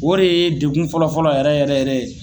O de ye degun fɔlɔfɔlɔ yɛrɛ yɛrɛ yɛrɛ ye